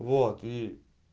вот и